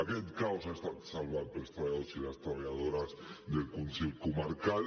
aquest caos ha estat salvat pels treballadors i les treballadores del consell comarcal